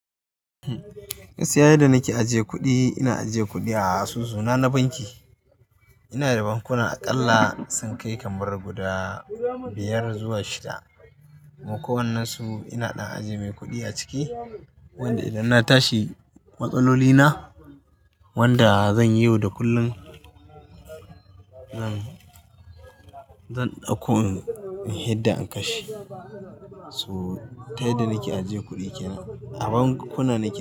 Gaskiya yanda na ke ajiye kuɗi, ina ajiye kuɗi a asusu na na banki. Ina da bankuna aƙalla sun kai kamar guda biyar zuwa shida. Mu ko wannan su ina na ajiye mai kuɗi a ciki wanda idan na tashi matsaloli na wanda zan yi yau da kullum. Zan, zan ɗauko yadda an kashe. So ta yanda nake ajiye kuɗi kenan a bankuna nake.